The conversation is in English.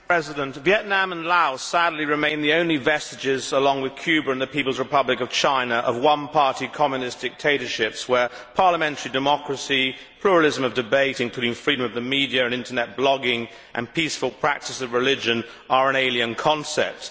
Mr President, Vietnam and Laos sadly remain the only vestiges, along with Cuba and the People's Republic of China, of one party Communist dictatorships, where parliamentary democracy, pluralism of debate including freedom of the media and internet blogging and peaceful practice of religion are alien concepts.